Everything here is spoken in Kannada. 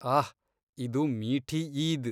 ಆಹ್! ಇದು ಮೀಠೀ ಈದ್.